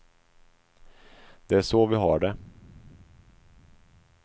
Det är så vi har det.